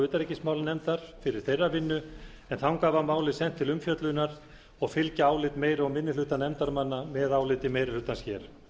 utanríkismálanefndar fyrir þeirra vinnu en þangað var málið sent til umfjöllunar og fylgja álit meiri og minnihluta nefndarmanna með áliti meirihlutans hér